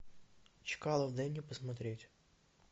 чкалов дай мне посмотреть